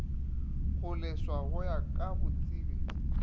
kgoleswa go ya ka botsebi